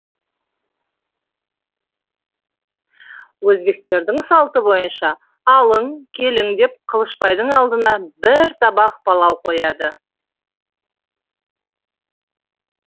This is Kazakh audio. өзбектердің салты бойынша алың келің деп қылышбайдың алдына бір табақ палау қояды